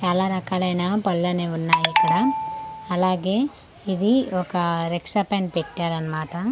చాలా రకాలైన పళ్ళనేవున్నాయిక్కడ అలాగే ఇది ఒక రిక్షపైన పెట్టారన్మాట.